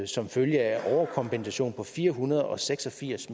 som følge af overkompensation på fire hundrede og seks og firs